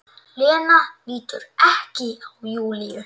Lena lítur ekki á Júlíu.